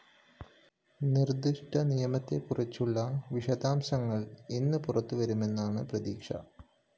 നിര്‍ദ്ദിഷ്ട നിയമത്തെക്കുറിച്ചുളള വിശദാംശങ്ങള്‍ ഇന്ന് പുറത്ത് വരുമെന്നാണ് പ്രതീക്ഷ